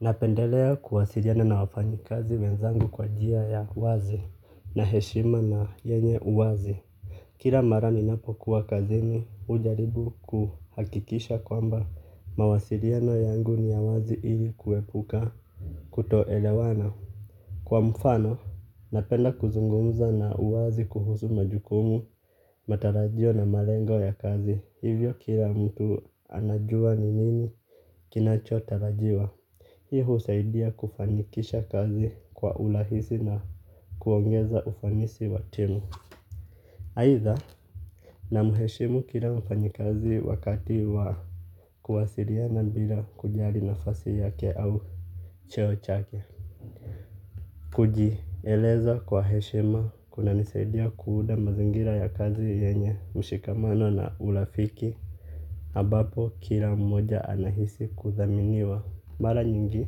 Napendelea kuwasiliana na wafanyikazi wenzangu kwa njia ya uwazi na heshima na yenye uwazi. Kila mara ninapokuwa kazini hujaribu kuhakikisha kwamba mawasiliano yangu ni ya uwazi ili kuepuka kutoelewana. Kwa mfano, napenda kuzungumza na uwazi kuhusu majukumu, kila mara ninapokuwa kazini hujaribu kuhakikisha kwamba mawasiliano yangu ni ya uwazi ili kuepuka kutoelewana. Aidha namheshimu kila mfanyikazi wakati wa kuwasiliana bila kujali nafasi yake au cheo chake. Kujieleza kwa heshima kunanisaidia kuunda mazingira ya kazi yenye mshikamano na urafiki. Ambapo kila mmoja anahisi kuthaminiwa. Mara nyingi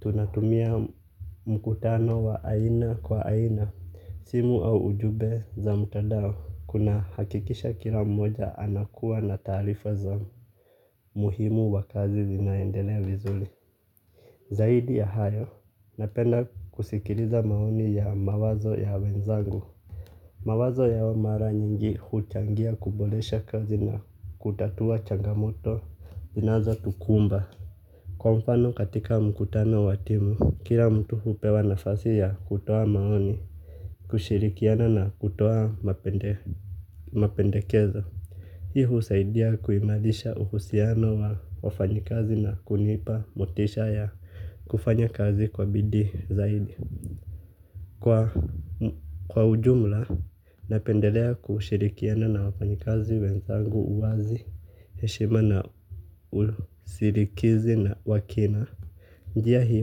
tunatumia mkutano wa aina kwa aina. Simu au ujumbe za mtandao. Kunahakikisha kila mmoja anakuwa na taarifa za muhimu wa kazi zinaendelea vizuri. Zaidi ya hayo napenda kusikiliza maoni ya mawazo ya wenzangu. Mawazo yao mara nyingi huchangia kuboresha kazi na kutatua changamoto zinazotukumba. Kwa mfano katika mkutano wa timu, kila mtu hupewa nafasi ya kutoa maoni, kushirikiana na kutoa mapendekezo. Hi husaidia kuimarisha uhusiano wa wafanyikazi na kunipa motisha ya kufanya kazi kwa bidii zaidi. Kwa ujumla, napendelea kushirikiana na wafanyikazi wenzangu uwazi, heshima na usilikizi na wa kina. Njia hii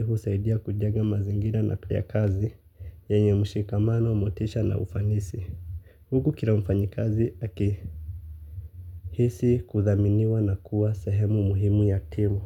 husaidia kujenga mazingira ya kazi, yenye mshikamano, motisha na ufanisi. Huku kila mfanyikazi aki hisi kuthaminiwa na kuwa sehemu muhimu ya timu.